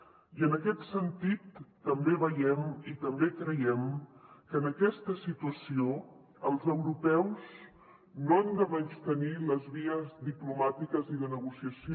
i en aquest sentit també veiem i també creiem que en aquesta situació els europeus no hem de menystenir les vies diplomàtiques i de negociació